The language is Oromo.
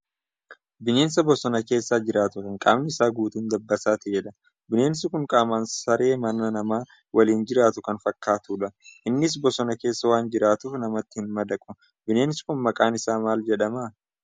Bineensa bosona keessa jiraatu kan qaamni isaa guutuun dabbasaa ta'edha. Bineensi kun qaamaan saree mana nama waliin jiraatu kan fakkaatudha. Innis bosona keessa waan jiraatuuf namatti hin madaqu. Bineensi kun maqaan isaa maal jedhamaa?